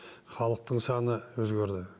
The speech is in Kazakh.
халықтың саны өзгерді